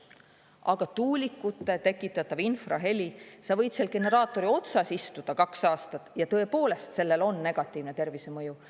Aga tuulikute tekitatav infraheli – sa võid seal generaatori otsas istuda kaks aastat ja tõepoolest sellel on negatiivne tervisemõju.